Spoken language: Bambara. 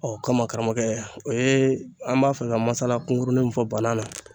Ɔ kama karamɔgɔkɛ o ye an b'a fɛ ka masala kunkurunin min fɔ banan na